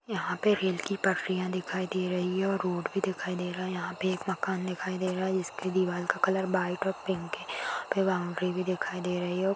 ये रेल की पटरिया दिखाई दे रही है और रोड भी दिखाई दे रहा यहा पे एक मकान दिखाई दे रहा इसके दीवार का कलर व्हाइट और पिंक है वहापे बॉउंड्री भी दिखाई दे रही है।